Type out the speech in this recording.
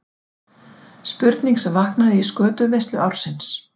Spurning sem vaknaði í skötuveislu ársins.